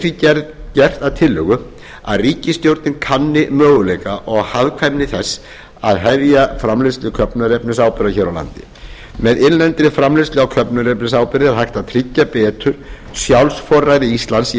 er því gert að tillögu að ríkisstjórnin kanni möguleika og hagkvæmni þess að hefja framleiðslu köfnunarefnisáburðar hér á landi með innlendri framleiðslu á köfnunarefnisáburði er hægt að tryggja betur sjálfsforræði íslands í